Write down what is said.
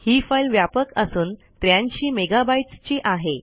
हि फाईल व्यापक असून 83 मेगा बाइट्स ची आहे